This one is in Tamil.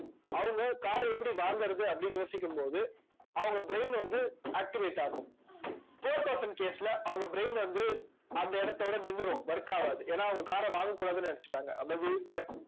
அவங்க car அ எப்படி வாங்கறது அப்படின்னு யோசிக்கும் போது அவங்க brain வந்து activate ஆகும் poor person case ல அவங்க brain வந்து அந்த இடத்தோட நின்னுடும் work ஆகாது ஏன்னா அவங்க car அ வாங்கக் கூடாதுன்னு நினைச்சுட்டாங்க